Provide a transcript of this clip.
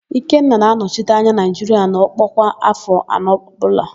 Ikenna na-anọchite anya Naịjiria n'ọkpọ kwa áfọ̀ anọ ọbụla